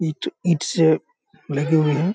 ईट-ईट से लगे हुए हैं।